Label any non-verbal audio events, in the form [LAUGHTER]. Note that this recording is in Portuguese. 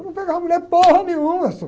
Eu não pegava a mulher [UNINTELLIGIBLE] nenhuma, senhor.